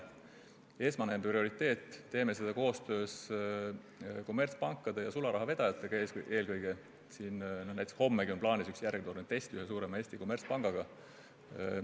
Teeme seda eelkõige koostöös kommertspankade ja sularahavedajatega, näiteks hommegi on plaanis üks järjekordne test Eesti ühe suure kommertspangaga.